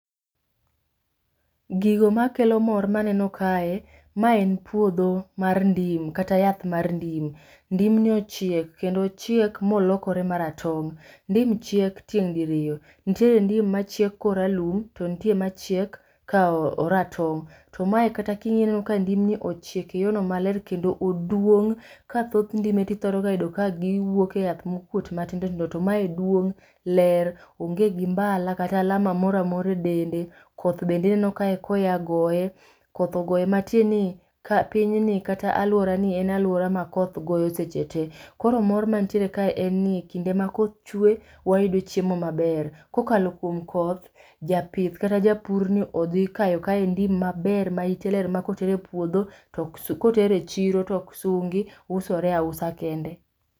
Gigo makelo mor maneno kae. Ma en puodho mar ndim, kata yath mar ndim. Ndim ni ochiek, kendo ochiek molokore ma ratong'. Ndim chiek tieng' diriyo. Ntiere ndim machiek koralum, to ntie machiek ka oratong'. To mae kata king'iye ineno ka ndim ni ochiek e yo no maler kendo oduong'. Ka thoth ndim tithoro ga yudo ka giwuok e yath mokuot matindo tindo, to mae duong', ler, onge gi mbala kata alama mora mora e dende. Koth bende aneno kae ka oya goye. Koth ogoye matie ni, ka pinyni kata alwora ni en alwora ma koth goyo seche te. Koro mor mantiere kae en ni kinde ma koth chwee wayudo chiemo maber. Kokalo kuom koth, japith kata japur ni odhi kayo kaendi maber ma ite ler ma koter e puodho, koter e chiro toksungi, usore ausa kende.